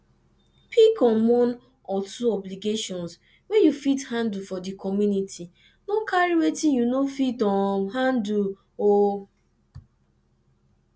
pick um one or two obligation wey you fit handle for di community no carry wetin you no fit um handle um